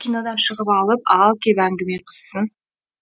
кинодан шығып алып ал кеп әңгіме қызсын